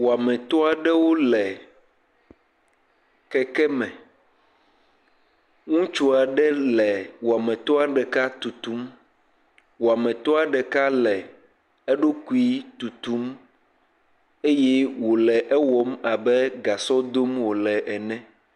Woametɔ aɖewo le kekeme. Ŋutsu aɖe le wɔametɔ ɖeka tutum. Wɔametɔa ɖeka le eɖokui tutum. Eye wòle ewɔm abe gasɔ dom wòle ene.